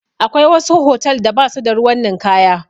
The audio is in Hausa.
Akwai wasu hotal da ba su da ruwan ninkaya.